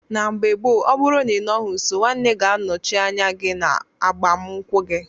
Na mgbe gbo ọbụrụ na inọghi nso nwanne ga anọchi anya gi na agbam nkwu gi.